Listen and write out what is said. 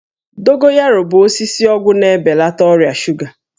Dogoyaro bụ osisi ọgwụ na-ebelata ọrịa shuga